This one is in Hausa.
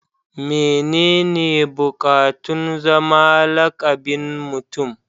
mene ne bukatun zama lakabin Mutum